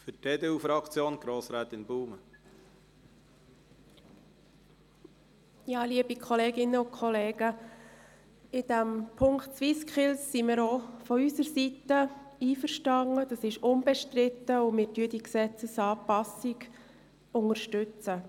Der Aspekt der SwissSkills ist auch von unserer Seite unbestritten, und wir unterstützen diese Gesetzesanpassung.